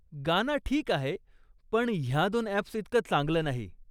गाना ठीक आहे, पण ह्या दोन अॅप्सइतकं चांगलं नाही.